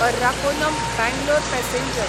Arakkonam Bangalore passenger